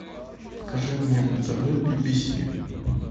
покажи мне на тв бибиси